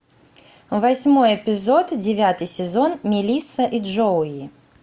восьмой эпизод девятый сезон мелисса и джоуи